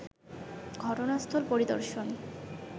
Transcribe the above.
ঘটনাস্থল পরিদর্শন